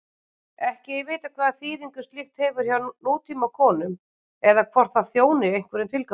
Ekki er vitað hvaða þýðingu slíkt hefur hjá nútímakonum eða hvort það þjóni einhverjum tilgangi.